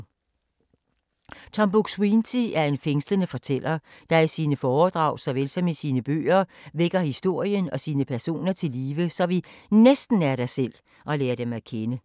Tom Buk-Swienty er en fængslende fortæller, der i sine foredrag såvel som i sine bøger vækker historien og sine personer til live, så vi næsten er der selv og lærer dem at kende.